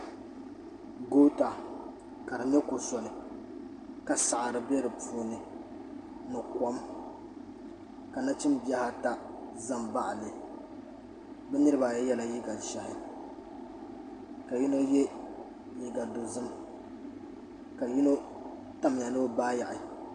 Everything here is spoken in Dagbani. Goota ka di nyɛ kom soli ka saɣiri bɛ di puuni ni kom ka nachim bihi ata za mbaɣi li bi niriba ayi yela liiga zɛhi ka yino ye liiga dozim ka yino tamiya ni o baa yaɣi.